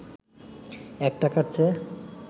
১ টাকার চেয়ে